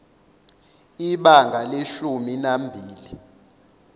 ibanga leshumi nambili